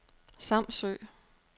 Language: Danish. Samsø